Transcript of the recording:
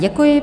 Děkuji.